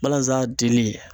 Balazan dili